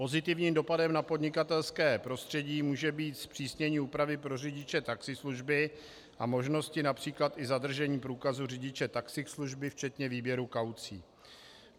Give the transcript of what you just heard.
Pozitivním dopadem na podnikatelské prostředí může být zpřísnění úpravy pro řidiče taxislužby a možnosti například i zadržení průkazu řidiče taxislužby včetně výběru kaucí.